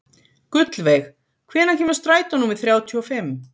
Gullveig, hvenær kemur strætó númer þrjátíu og fimm?